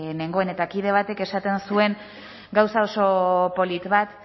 nengoen eta kide batek esaten zuen gauza oso polit bat